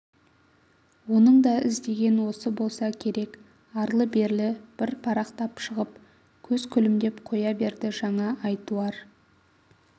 оның да іздеген осы болса керек арлы-берлі бір парақтап шығып көз күлімдеп қоя берді жаңа айтуар